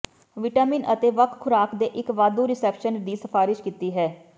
vitamin ਅਤੇ ਵੱਖ ਖੁਰਾਕ ਦੇ ਇੱਕ ਵਾਧੂ ਰਿਸੈਪਸ਼ਨ ਦੀ ਸਿਫਾਰਸ਼ ਕੀਤੀ ਹੈ